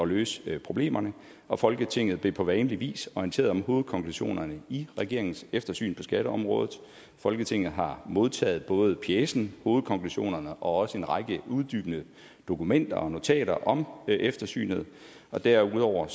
løse problemerne og folketinget blev på vanlig vis orienteret om hovedkonklusionerne i regeringens eftersyn på skatteområdet folketinget har modtaget både pjecen hovedkonklusionerne og også en række uddybende dokumenter og notater om eftersynet derudover